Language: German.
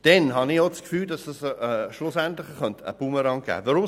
Ich habe zudem das Gefühl, es daraus könnte schliesslich ein Bumerang resultieren.